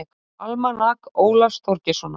Almanak Ólafs Þorgeirssonar.